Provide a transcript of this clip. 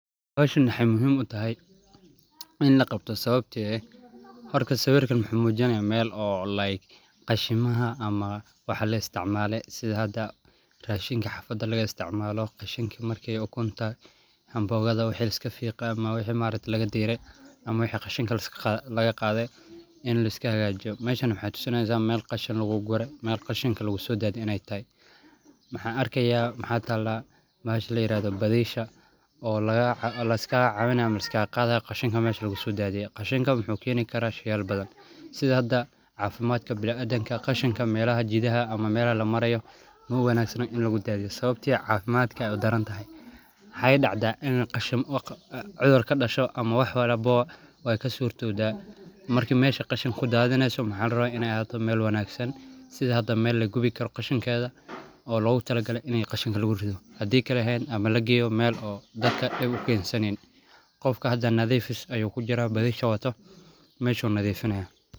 Howshan waxaay muhiim utahay in laqabto sababta oo ah horta sawiirkan wuxuu mujinaaya meel oo qashimaha ama waxa laisticmaale, sidha hada rashinka xafada laga isticmaalo, qashinka ukunta, ambooga waxeey iska fiiqan ama wixi maaragte laga diire, ama wixi qashinka laga qaade in laiska hagaajiyo, meeshan waxaay tusinaysa meel qashin lagu gure, meel qashinka lagu soo dadiye inaay tahay, mxaan arkayaa waxaa taala bahasha layiraahdo badiisha, oo laiskaaga caawinaayo ama lasikaaga qaadayo qashinka meesha lagu soo daadiye, qashinka wuxuu keeni karaa sheeyal badan sidha hada cafimaadka biniadamka qashinka meelaha jidaha ama meelaha lamarayo ma wanaagsano in lagu daadiyo sababta ayaa ah cafimaadka daran, waxaay dacda inuu cudur kadasho ama wax walbo waay kasuurtowda, marka meesha qashin kudaadineyso mxaa larabaa in aay ahaato meel wanagsan sidha hada meel lagubi karo qashinkeeda oo loogu tala gale in qashinka lagu rido hadii kale lageeyo meel oo dad aay dib ukeensaneynin, qofka hada nadiifis ayuu kujiraa badiisha wato, meeshu nadifinaaya.